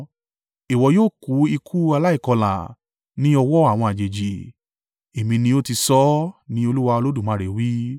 Ìwọ yóò kú ikú aláìkọlà, ní ọwọ́ àwọn àjèjì. Èmi ni ó ti sọ ọ́, ní Olúwa Olódùmarè wí.’ ”